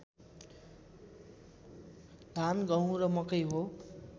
धान गहुँ र मकै हो